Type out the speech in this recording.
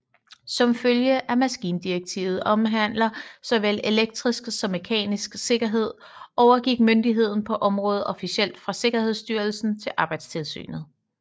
Som følge af at maskindirektivet omhandler såvel elektrisk som mekanisk sikkerhed overgik myndigheden på området officielt fra sikkerhedsstyrelsen til arbejdstilsynet